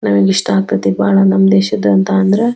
ನಮಗ ಇಷ್ಟಾ ಆಗತೈತಿ ಬಹಳ ನಮ್ ದೇಶದ್ ಅಂತ ಅಂದ್ರ --